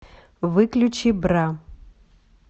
выключи бра